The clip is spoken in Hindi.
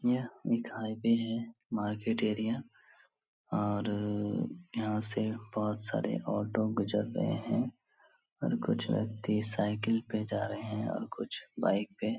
यह मिठाई पे हैं मार्केट एरिया और यहाँ से बहुत सारे ऑटो गुजर रहे हैं और कुछ व्यक्ति साइकिल पे जा रहे हैं और कुछ बाइक पे |